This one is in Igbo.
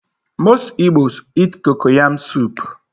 Most Igbos eat cocoyam soup.